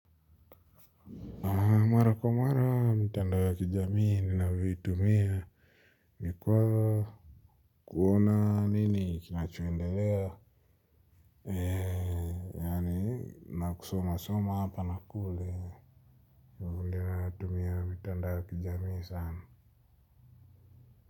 Na mara kwa mara, mitandao ya kijamii ni na vitu mia, mikwa kuona nini, kinachoendelea, ee, yaani, nakusoma soma, hapa nakule, ni vile natumia mitandao ya kijamii sana.